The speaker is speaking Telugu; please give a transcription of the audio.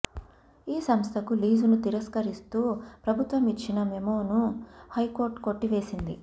ఈ సంస్థకు లీజును తిరస్కరిస్తూ ప్రభుత్వం ఇచ్చిన మెమోను హైకోర్టు కొట్టివేసింది